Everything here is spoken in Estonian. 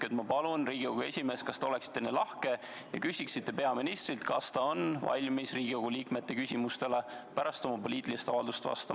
Ma palun, Riigikogu esimees, kas te oleksite nii lahke ja küsiksite peaministrilt, kas ta on valmis Riigikogu liikmete küsimustele pärast oma poliitilist avaldust vastama.